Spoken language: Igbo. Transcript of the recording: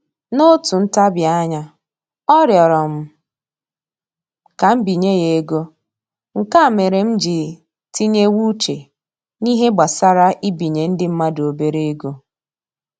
N'otu ntabianya, ọ rịọrọ m ka m binye ya ego, nke a mere m ji tinyewe uche n'ihe gbasara ibinye ndị mmadụ obere ego